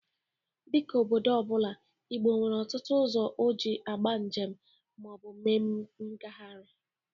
Dịka obodo ọ bụla, Igbo nwere ọtụtụ ụzọ o ji agba njem ma ọ bụ mee mgaharịa.